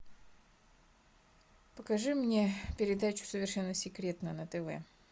покажи мне передачу совершенно секретно на тв